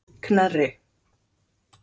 Knerri